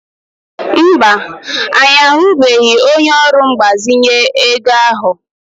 Mba, anyị ahụbeghị onye ọrụ mgbazinye ego ahụ.